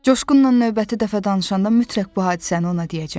Coşqunla növbəti dəfə danışanda mütləq bu hadisəni ona deyəcəm.